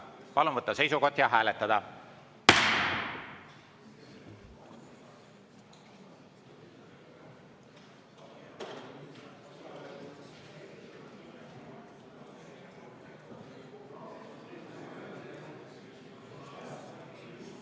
Palun võtta seisukoht ja hääletada!